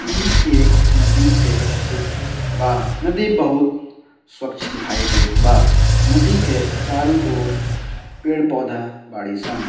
इ एक नदी के चित्र बा नदी बहुत स्वच्छ दिखाई देत बा नदी के चारो और पड़े-पौधा बाड़ीसन।